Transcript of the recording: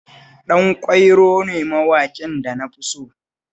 Ɗanƙwairo ne mawaƙin da na fi so